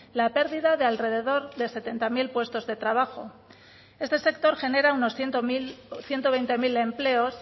la pérdida de alrededor de setenta mil puestos de trabajo este sector genera unos ciento veinte mil empleos